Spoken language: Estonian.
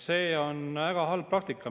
See on väga halb praktika.